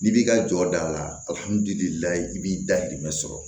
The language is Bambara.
N'i b'i ka jɔ da la alhammudulilaye i b'i dayirimɛ sɔrɔ